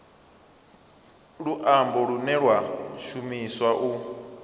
luambo lune lwa shumiswa u